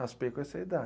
Raspei com essa idade.